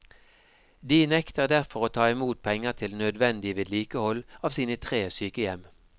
De nekter derfor å ta imot penger til nødvendig vedlikehold av sine tre sykehjem.